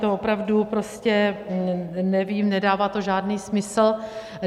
To opravdu prostě nevím, nedává to žádný smysl.